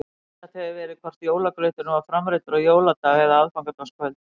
Misjafnt hefur verið hvort jólagrauturinn var framreiddur á jóladag eða aðfangadagskvöld.